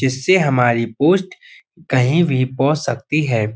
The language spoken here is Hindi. जिससे हमारी पोस्ट कहीं भी पो सकती है।